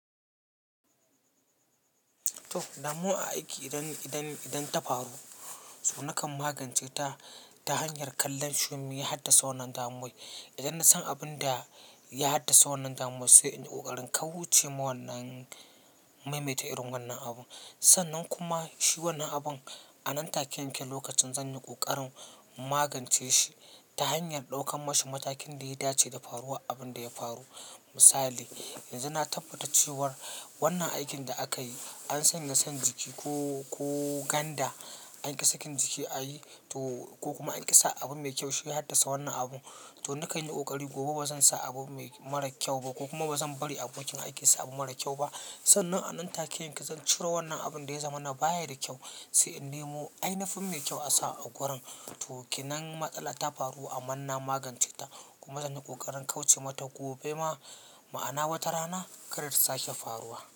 To damuwa a aiki idan, idan, idan ta faru. To nakan magance ta, ta hanyar kallon shin me ya haddasa wannan damuwai? Idan na san abin da ya haddasa wannan damuwa sai in yi ƙoƙarin kauce ma wannan, maimaita irin wannan abun. Sannan kuma shi wannan abun a nan take yanke lokacin zan yi ƙoƙarin magance shi, ta hanyar ɗauka mashi matakin da ya dace da faruwa abin da ya faru. Misali, yanzu na tabbata cewar wannan aikin da aka yi an sanya san jiki ko, ko ganda, an ƙi sakin jiki a yi to ko kuma an ƙi sa abu mai kyau shi ya haddasa wannan abun. To nakan yi ƙoƙari gobe ba zan sa abu mai mara kyau ba, ko kuma ba zan bari abokin aiki ya sa abu mara kyau ba sannan a nan take yanke zan ciro wannan abun da ya zama na baya da kyau, sai in nemo ainafin mai kyau a sa a gurin. To kinan matsala ta faru amman na magance ta, kuma zan yi ƙoƙarin kauce mata gobe ma, ma'ana wata rana kar ta sake faruwa.